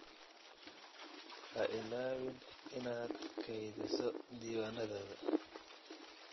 Ha ilaawin inaad kaydiso diiwaanadaada.